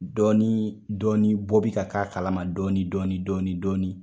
Dɔɔni dɔɔni bɔ bɛ ka k'a kalama dɔɔni dɔɔni dɔɔni dɔɔni.